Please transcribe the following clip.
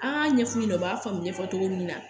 An y'a ɲɛf'u ɲɛna u b'a faamu ɲɛfɔ cogo min na